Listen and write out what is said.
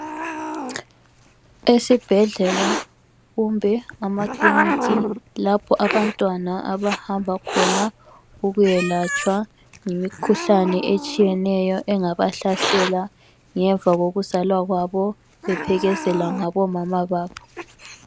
Esibhedlela kumbe amakliniki ,lapho abantwana abahamba khona ukuyalatshwa imikhuhlane etshiyeneyo engabahlasela ngemva kokuzalwa kwabo ,bephelekezelwa ngabo mama babo.